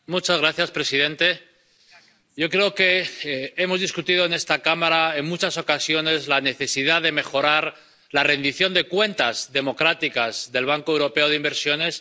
Señor presidente, yo creo que hemos debatido en esta Cámara, en muchas ocasiones, la necesidad de mejorar la rendición de cuentas democrática del Banco Europeo de Inversiones.